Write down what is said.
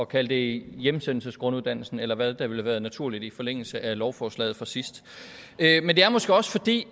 kalde det hjemsendelsesgrunduddannelsen eller hvad der ville have været naturligt i forlængelse af lovforslaget fra sidst men det er måske også fordi